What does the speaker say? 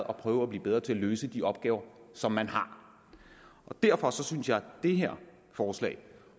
og prøve at blive bedre til at løse de opgaver som man har derfor synes jeg at det her forslag